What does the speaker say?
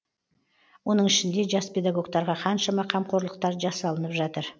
оның ішінде жас педагогтарға қаншама қамқорлықтар жасалынып жатыр